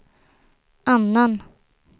annan